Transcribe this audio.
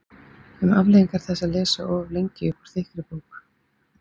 Um afleiðingar þess að lesa of lengi upp úr þykkri bók